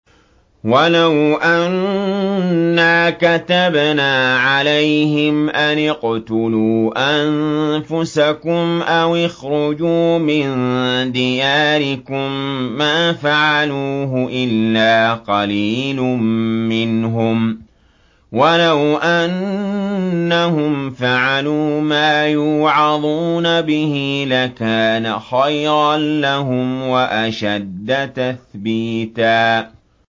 وَلَوْ أَنَّا كَتَبْنَا عَلَيْهِمْ أَنِ اقْتُلُوا أَنفُسَكُمْ أَوِ اخْرُجُوا مِن دِيَارِكُم مَّا فَعَلُوهُ إِلَّا قَلِيلٌ مِّنْهُمْ ۖ وَلَوْ أَنَّهُمْ فَعَلُوا مَا يُوعَظُونَ بِهِ لَكَانَ خَيْرًا لَّهُمْ وَأَشَدَّ تَثْبِيتًا